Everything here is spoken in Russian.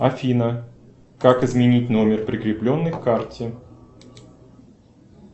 афина как изменить номер прикрепленный к карте